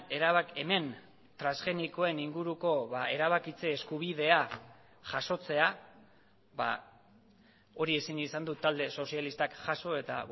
erabaki hemen transgenikoen inguruko erabakitze eskubidea jasotzea hori ezin izan du talde sozialistak jaso eta